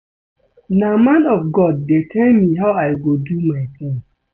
No man of God dey tell me how I go do my things